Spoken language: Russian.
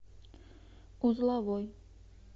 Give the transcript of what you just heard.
узловой